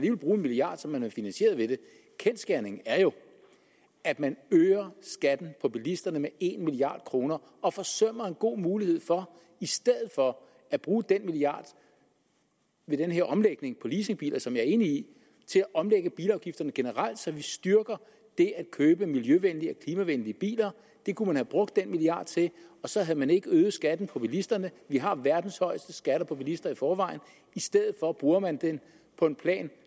kan bruge en milliard som man har finansieret ved det kendsgerningen er jo at man øger skatten for bilisterne med en milliard kroner og forsømmer en god mulighed for i stedet for at bruge den milliard ved den her omlægning på leasingbiler som jeg er enig i til at omlægge bilafgifterne generelt så vi styrker det at købe miljøvenlige og klimavenlige biler det kunne man have brugt den milliard til så havde man ikke øget skatten på bilisterne vi har verdens højeste skatter for bilister i forvejen i stedet for bruger man den på en plan